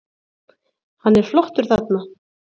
Hann er flottur þarna.